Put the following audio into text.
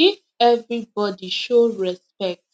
if everybody show respect